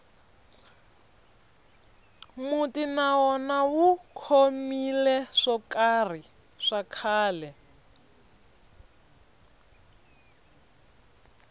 muti na wona wu khomile swo karhi swa khale